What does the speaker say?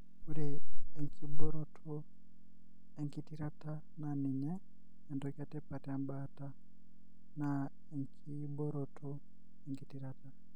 Ore enkiboroto engitirata na ninye entoki etipat embaata na enkiboroto engitirata